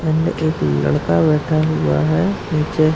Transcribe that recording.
end एक लड़का बैठा हुआ है नीचे --